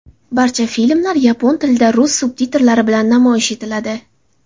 Barcha filmlar yapon tilida rus subtitrlari bilan namoyish etiladi.